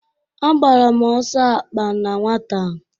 Agbara m ọsọ akpa na nwata.